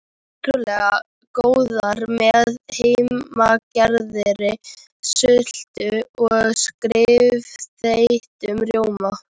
Ótrúlega góðar með heimagerðri sultu og stífþeyttum rjóma.